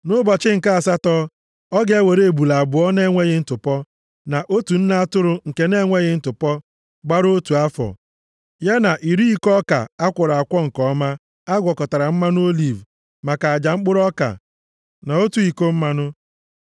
“Nʼụbọchị nke asatọ, ọ ga-ewere ebule abụọ na-enweghị ntụpọ, na otu nne atụrụ nke na-enweghị ntụpọ gbara otu afọ, ya na iri iko ọka a kwọrọ nke ọma a gwakọtara mmanụ oliv maka aja mkpụrụ ọka, na otu iko mmanụ.